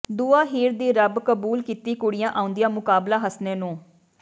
ਦੁਆ ਹੀਰ ਦੀ ਰੱਬ ਕਬੂਲ ਕੀਤੀ ਕੁੜੀਆਂ ਆਉਂਦੀਆਂ ਮੁਕਬਲਾ ਹਸਣੇ ਨੂੰ